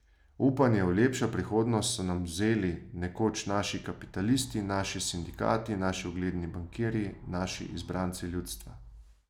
Upanje v lepšo prihodnost so nam vzeli nekoč naši kapitalisti, naši sindikati, naši ugledni bankirji, naši izbranci ljudstva.